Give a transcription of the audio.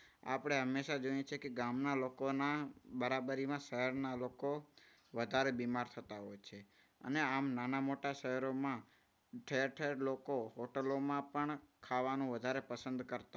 આપણે હંમેશા જોઈએ છે કે ગામના લોકોના બરાબરીમાં શહેરના લોકો વધારે બીમાર થતા હોય છે. અને આમ નાના મોટા શહેરોમાં ઠેરઠ લોકો હોટલોમાં પણ ખાવાનું વધારે પસંદ કરતા